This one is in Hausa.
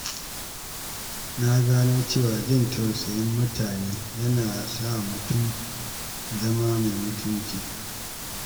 Na gano cewa jin tausayin mutane yana sa mutum zama mai mutunci.